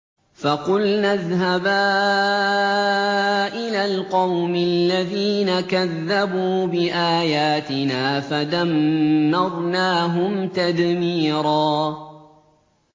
فَقُلْنَا اذْهَبَا إِلَى الْقَوْمِ الَّذِينَ كَذَّبُوا بِآيَاتِنَا فَدَمَّرْنَاهُمْ تَدْمِيرًا